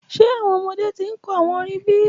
Ṣe awọn ọmọde ti nkọ awọn orin bi?